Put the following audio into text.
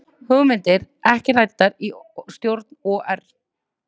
Hugmyndir ekki ræddar í stjórn OR